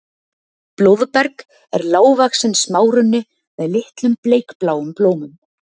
blóðberg er lágvaxinn smárunni með litlum bleikbláum blómum